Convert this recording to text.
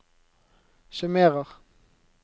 summerer